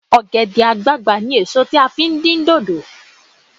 Ọ̀gẹ̀dẹ̀ àgbagbà ni èso tí a fi ń dín dòdò